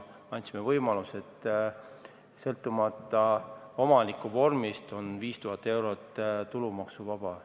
Me andsime võimaluse, et sõltumata omandivormist on 5000 eurot tulumaksuvaba.